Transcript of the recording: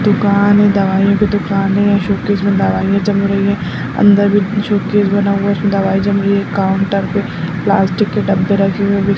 दुकान है दवाईयों की दुकान है शोकेस में दवाईयाँ जम रही है अंदर भी शोकेस बना है उसमे दवाई जम रही है काउंटर पे प्लास्टिक के डब्बे रखे हुए भी --